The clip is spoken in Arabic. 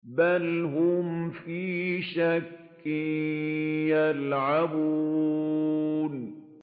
بَلْ هُمْ فِي شَكٍّ يَلْعَبُونَ